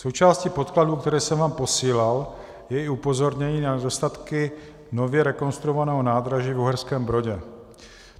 Součástí podkladů, které jsem vám posílal, je i upozornění na nedostatky nově rekonstruovaného nádraží v Uherském Brodě.